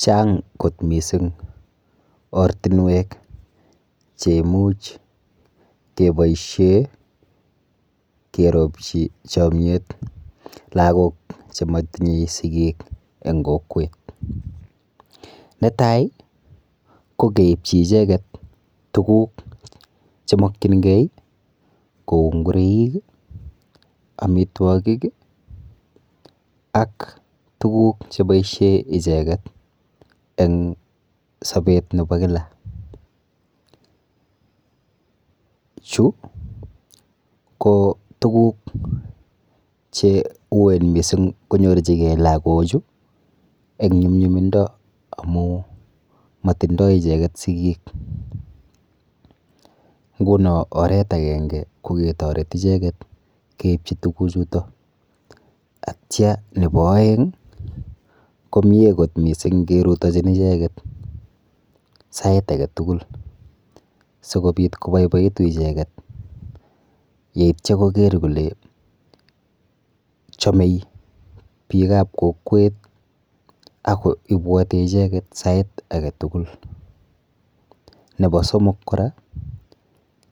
Chang kot mising ortinwek cheimuch keboishe keropchi chomyet lagok chematinye sikik eng kokwet. Netai ko keipchi icheket tuguk chemokchingei kou ngureik, amitwokik ak tuguk cheboishe icheket eng sopet nepo kila. Chu ko tuguk cheuen mising konyorchigei lakochu eng nyumnyumindo amu matindoi icheket sikik nguno oret akenge ko ketoret icheket keipchi tukuchuto atya nepo oeng komie kot mising kerutochin icheket sait aketugul sikobit koboiboitu icheket yeityo koker kole chomei biikap kokwet ako ibwoti icheket sait aketugul. Nepo somok kora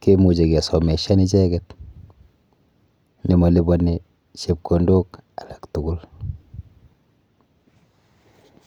kemuchi kesomeshan icheket nemaliponi chepkondok alak tugul.